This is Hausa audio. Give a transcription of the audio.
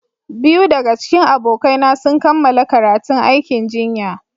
Biyu daga cikin abokaina sun kammala karatun aikin jinya.